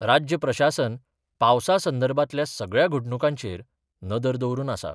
राज्य प्रशासन पावसा संदर्भातल्या सगळ्या घडणुकांचेर नदर दवरून आसा.